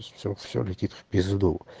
все все летит в пизду